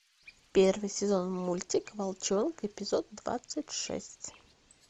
первый сезон мультик волчонок эпизод двадцать шесть